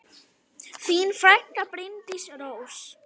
Þín frænka, Bryndís Rós.